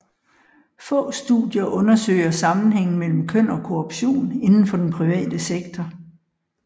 Få studier undersøger sammenhængen mellem køn og korruption inden for den private sektor